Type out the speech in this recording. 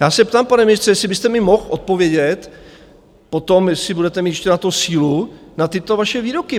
Já se ptám, pane ministře, jestli byste mi mohl odpovědět potom, jestli budete mít ještě na tu sílu, na tyto vaše výroky.